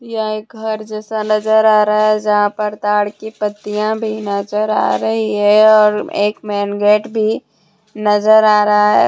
यह एक घर जैसा नजर आ रहा है यहां पर ताड़ की पत्तियां भी नजर आ रही है और एक मेन गेट भी नजर आ रहा है।